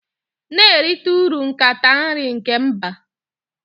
Na-erite uru nkata nri nke mba